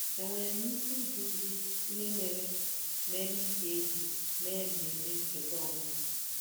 Enwere m ike ịjụ gị ihe mere mere ị ga-eji mee mmemme ncheta ọmụmụ?